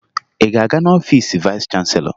Ị ga-aga n'ọfiisi vayịs chanselọ?